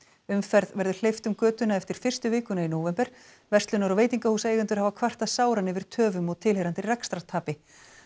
umferð verður hleypt um götuna eftir fyrstu vikuna í nóvember verslunar og veitingahúsaeigendur hafa kvartað sáran yfir töfum og tilheyrandi rekstrartapi